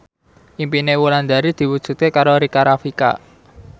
impine Wulandari diwujudke karo Rika Rafika